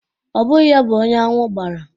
Ọ bụghị ya bụ onye aṅwụ gbara.